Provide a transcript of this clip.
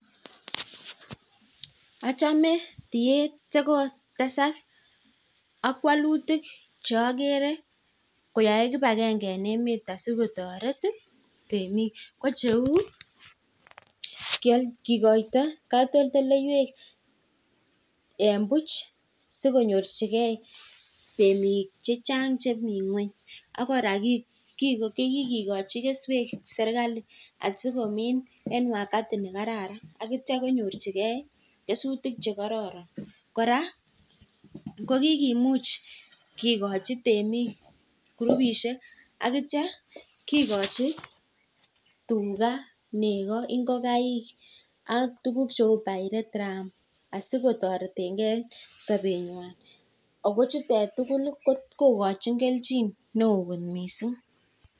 Achamee amuu tareti temik cheuu kikoto katoldoywek sikonyorjike temik chechang chemii ngony akoraa kikikochi keswek sirkali akokaji tugaa negoo ak ingokaiik